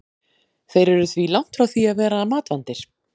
Þeir eru því langt frá því að vera matvandir.